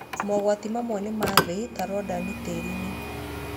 Mogwati mamwe nĩ ma thĩ ta radoni tĩri-inĩ.